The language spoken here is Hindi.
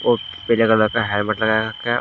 और पीले कलर का हेलमेट लगा रखा है।